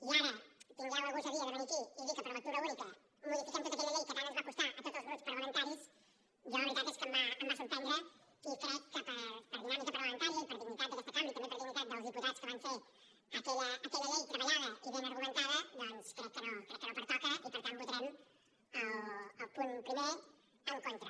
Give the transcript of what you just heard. i ara tingueu la gosadia de venir aquí i dir que per lectura única modifiquem tota aquella llei que tant ens va costar a tots els grups parlamentaris jo la veritat és que em va sorprendre i crec que per dinàmica parlamentària i per dignitat d’aquesta cambra i també per dignitat dels diputats que van fer aquella llei treballada i ben argumentada doncs crec que no pertoca i per tant votarem el punt primer en contra